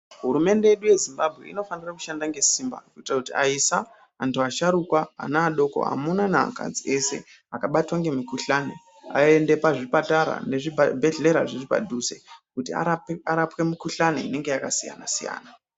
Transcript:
Hurumende yedu ye Zimbabwe inofanire kushanda nge simba kuitira kuti ayisa antu asharukwa ana adoko amuna ne akadzi ese aka batwa nge mikuhlani ayende pa zvipatara ne zvibhedhleya zviri padhuze kuti arapwe mu kuhlani inenge yaka siyana siyana.